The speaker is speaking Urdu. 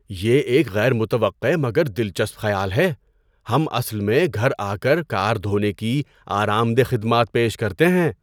یہ ایک غیر متوقع مگر دلچسپ خیال ہے! ہم اصل میں گھر آ کر کار دھونے کی آرام دہ خدمات پیش کرتے ہیں۔